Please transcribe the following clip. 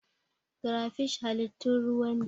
Crayfish halittun ruwa ne.